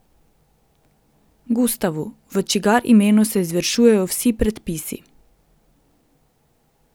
Gustavu, v čigar imenu se izvršujejo vsi predpisi.